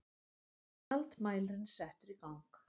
Gjaldmælirinn settur í gang.